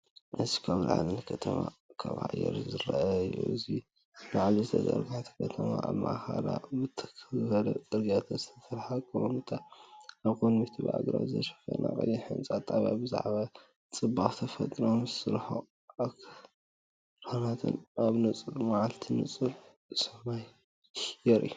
እዚ ካብ ላዕሊ ንከተማ ካብ ኣየር ዝርአ እዩ። እዚ ኣብ ላዕሊ ዝተዘርግሐት ከተማ፡ኣብ ማእከላ ብትኽ ዝበለ ጽርግያታት ዝተሰርሐ ኣቀማምጣ፡ ኣብ ቅድሚት ብኣግራብ ዝተሸፈነ ቀይሕ ህንጻ ጣብያ። ብዛዕባ ጽባቐ ተፈጥሮ ምስ ርሑቕ ኣኽራናትን ኣብ ንጹር መዓልቲ ንጹር ሰማይንየርኢ።